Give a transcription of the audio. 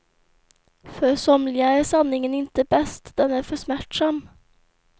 För somliga är sanningen inte bäst, den är för smärtsam.